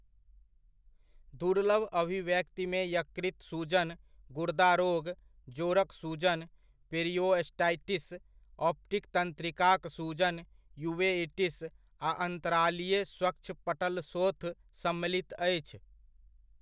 दुर्लभ अभिव्यक्तिमे यकृत सूजन, गुर्दा रोग, जोड़क सूजन, पेरिओस्टाइटिस, ऑप्टिक तन्त्रिकाक सूजन, यूवेइटिस, आ अन्तरालीय स्वच्छपटलशोथ सम्मिलित अछि।